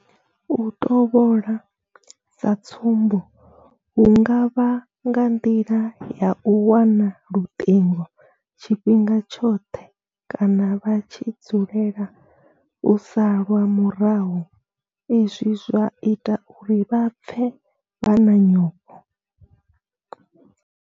U tovhola sa tsumbo hu nga vha nga nḓila ya u wana luṱingo tshifhinga tshoṱhe kana vha tshi dzulela u salwa murahu izwi zwa ita uri vha pfe vha na nyofho.